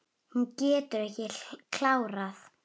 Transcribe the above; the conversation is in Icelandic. Hún getur ekki klárað.